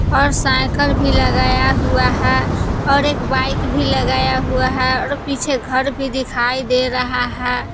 और साइकल भी लगाया हुआ है और एक बाइक भी लगाया हुआ है और पीछे घर भी दिखाई दे रहा है।